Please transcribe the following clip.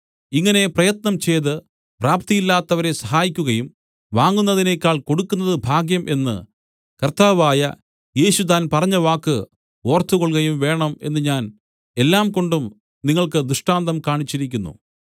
ഇങ്ങനെ പ്രയത്നം ചെയ്ത് പ്രാപ്തിയില്ലാത്തവരെ സഹായിക്കുകയും വാങ്ങുന്നതിനേക്കാൾ കൊടുക്കുന്നത് ഭാഗ്യം എന്ന് കർത്താവായ യേശു താൻ പറഞ്ഞവാക്ക് ഓർത്തുകൊൾകയും വേണം എന്ന് ഞാൻ എല്ലാംകൊണ്ടും നിങ്ങൾക്ക് ദൃഷ്ടാന്തം കാണിച്ചിരിക്കുന്നു